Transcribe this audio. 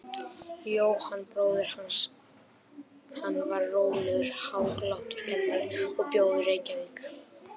Jóhann bróðir hans, hann var rólegur, hæglátur kennari og bjó í Reykjavík.